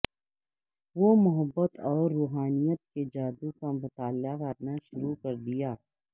وہ محبت اور روحانیت کے جادو کا مطالعہ کرنا شروع کر دیا